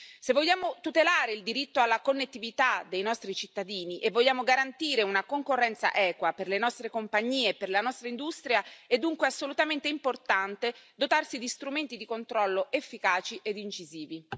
Se vogliamo tutelare il diritto alla connettività dei nostri cittadini e vogliamo garantire una concorrenza equa per le nostre compagnie e per la nostra industria, è dunque assolutamente importante dotarsi di strumenti di controllo efficaci ed incisivi.